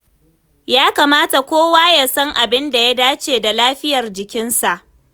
Ya kamata kowa ya san abin da ya dace da lafiyar jikinsa.